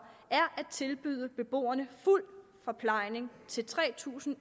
er at tilbyde beboerne fuld forplejning til tre tusind